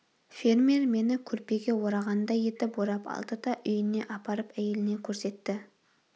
фермер мені көрпеге орағандай етіп орап алды да үйіне апарып әйеліне көрсетті